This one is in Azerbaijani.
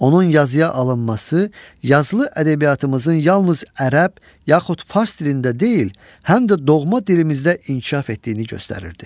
Onun yazıya alınması yazılı ədəbiyyatımızın yalnız ərəb, yaxud fars dilində deyil, həm də doğma dilimizdə inkişaf etdiyini göstərirdi.